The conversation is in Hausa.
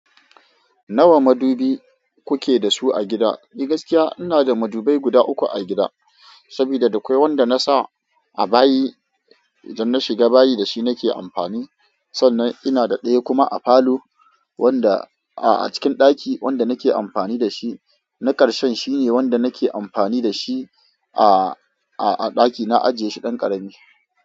Nawa madubi kuke da su a gida? Ni gaskiya ina da madubai guda uku a gida, saboda da akwai wanda na sa a bayi, idan na shiga bayi da shi nake amfani. Sannan ina da ɗaya kuma a falo, wanda a cikin ɗaki wanda nake amfani da shi. Na karshen shine wanda nake amfani da shi a, a, a ɗaki na ajiye shi ɗan ƙarami.